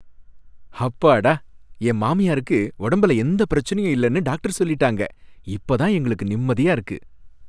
ஹப்பாடா! என் மாமியாருக்கு உடம்புல எந்தப் பிரச்சனையும் இல்லனு டாக்டர் சொல்லிட்டாங்க, இப்ப தான் எங்களுக்கு நிம்மதியா இருக்கு.